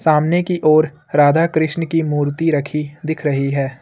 सामने की ओर राधा कृष्ण की मूर्ति रखी दिख रही है।